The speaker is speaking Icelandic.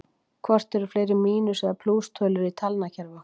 Hvort eru fleiri mínus- eða plústölur í talnakerfi okkar?